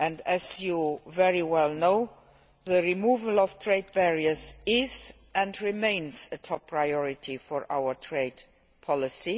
As you know very well the removal of trade barriers is and remains a top priority for our trade policy.